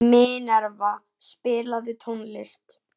Minerva, spilaðu tónlist.